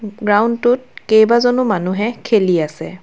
Ground টোত কেইবাজনো মানুহে খেলি আছে।